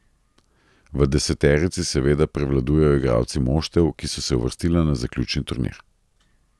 V deseterici seveda prevladujejo igralci moštev, ki so se uvrstila na zaključni turnir.